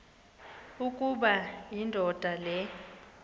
ukuba indoda le